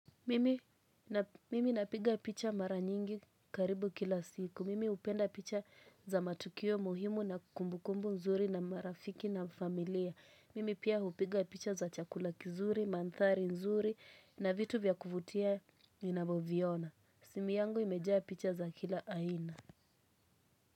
Mimi napiga picha mara nyingi karibu kila siku. Mimi hupenda picha za matukio muhimu na kumbukumbu nzuri na marafiki na familia. Mimi pia hupiga picha za chakula kizuri, mandhari nzuri na vitu vya kuvutia nina vyoviona. Simu yangu imejaa picha za kila aina.